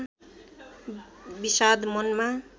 विषाद मनमा